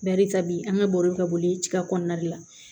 Barika bi an ka baro ka bɔ ye tiga kɔnɔna de la